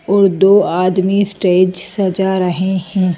और दो आदमी स्टेज सजा रहे हैं।